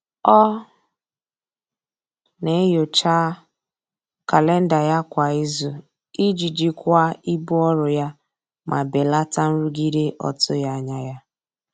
Ọ na-enyocha kalenda ya kwa izu iji jikwaa ibu ọrụ ya ma belata nrụgide ọtụghị anya ya.